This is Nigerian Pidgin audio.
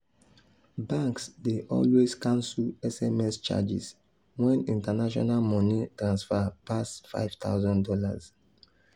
banks dey always cancel sms charges when international money transfer pass five thousand dollars.